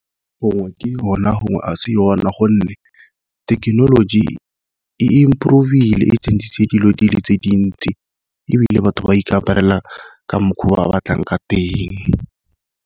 Gongwe ke rona gongwe a se yona gonne thekenoloji e improve-ile, ebile e change-ile dilo dile tse dintsi ebile batho ba ikaparela ka mokgwa ba batlang ka teng.